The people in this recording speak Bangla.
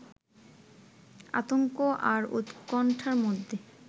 আতঙ্ক আর উৎকণ্ঠার মধ্যে